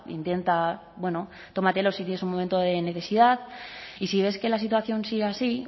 intenta bueno tómatelo si tienes un momento de necesidad y si ves que la situación sigue así